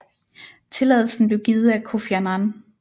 Tilladelsen blev givet af Kofi Annan